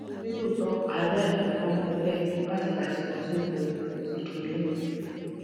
nítòótọ àárẹ kò máa ń mú mi bẹẹ láti ìgbà tí mo ti ń lo citrulline